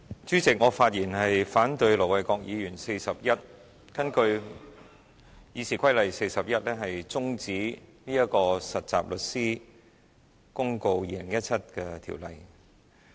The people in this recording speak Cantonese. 主席，我發言反對盧偉國議員根據《議事規則》第401條提出將有關《〈2017年實習律師規則〉公告》的辯論中止待續的議案。